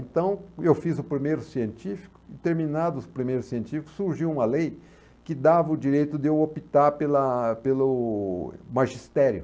Então, eu fiz o primeiro científico, e terminado o primeiro científico, surgiu uma lei que dava o direito de eu optar pela a pelo magistério.